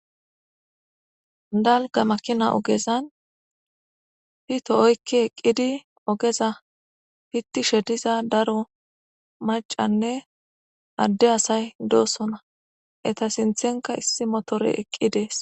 Dalgga makina ogezan pitho oyqqi eqqidi ogeza piththishe diza daro maccanne adde asay doosona;etha sinththenkka issi mothoree eqqi dees.